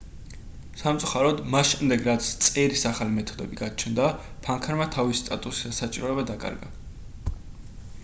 სამწუხაროდ მას შემდეგ რაც წერის ახალი მეთოდები გაჩნდა ფანქარმა თავისი სტატუსი და საჭიროება დაკარგა